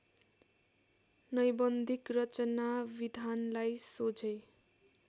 नैबन्धिक रचनाविधानलाई सोझै